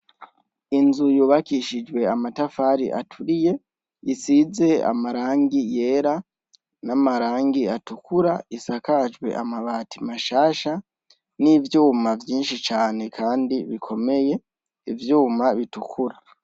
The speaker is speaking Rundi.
Inzu yubakishijwe amatafari aturiye, isize amarangi yera n'amarangi atukura, isakajwe amabati mashasha n'ivyuma vyinshi cane kandi bikomeye ivyuma bitukura.